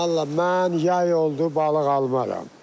Vallah mən yay oldu, balıq almaram.